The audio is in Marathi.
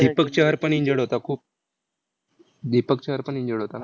वीस